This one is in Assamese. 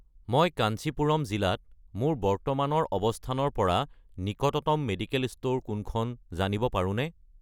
মই কাঞ্চীপুৰম জিলাত মোৰ বৰ্তমানৰ অৱস্থানৰ পৰা নিকটতম মেডিকেল ষ্ট'ৰ কোনখন জানিব পাৰোঁনে?